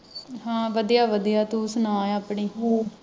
ਹਾਂ ਵਧਿਆ ਵਧਿਆ ਤੂੰ ਸੁਣਾ ਆਪਣੀ